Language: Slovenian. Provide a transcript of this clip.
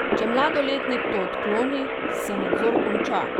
Če mladoletnik to odkloni, se nadzor konča.